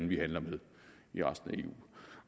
vi handler med